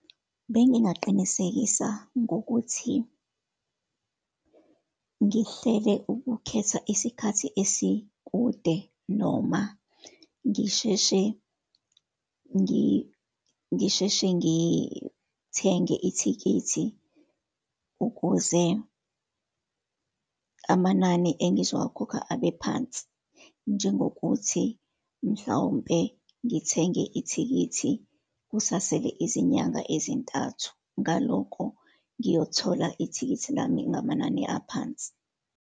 Bengingaqinisekisa ngokuthi ngihlele ukukhetha isikhathi esikude, noma ngisheshe, ngisheshe ngithenge ithikithi ukuze amanani engizowakhokha abe phansi, njengokuthi, mhlawumpe ngithenge ithikithi kusasele izinyanga ezintathu. Ngaloko ngiyothola ithikithi lami ngamanani aphansi.